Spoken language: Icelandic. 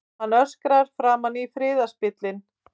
Hann öskrar framan í friðarspillinn.